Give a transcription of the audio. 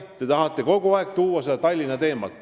Te tahate kogu aeg tuua kõne alla Tallinna teemat.